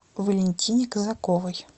валентине казаковой